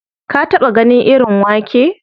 Ka taɓa ganin irin wake?